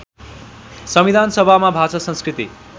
संविधानसभामा भाषा संस्कृति